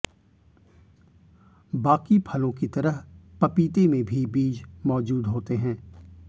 बाकी फलों की तरह पपीते में भी बीज मौजूद होते हैं